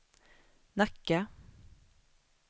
Nacka